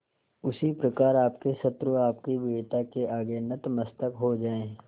उसी प्रकार आपके शत्रु आपकी वीरता के आगे नतमस्तक हो जाएं